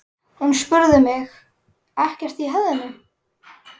Hún spurði mig: ekkert í höfðinu?